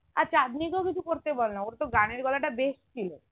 আর চাঁদনিকেও কিছু করতে বলনা ওর তো গানের গলা টা বেশ ছিল